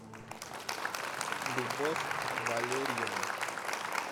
любовь валерьевну